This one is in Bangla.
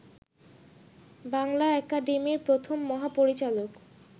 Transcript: বাংলা একাডেমির প্রথম মহাপরিচালক